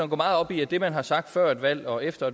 meget op i at det man har sagt før et valg og efter